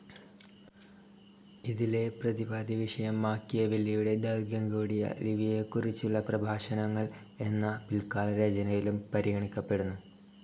ഇതിലെ പ്രതിപാദ്യവിഷയം മാക്കിയെവെല്ലിയുടെ ദൈർഘ്യം കൂടിയ ലിവിയെക്കുറിച്ചുള്ള പ്രഭാഷണങ്ങൾ എന്ന പിൽക്കാലരചനയിലും പരിഗണിക്കപ്പെടുന്നു.